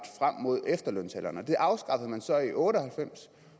frem mod efterlønsalderen det afskaffede man så i nitten otte og halvfems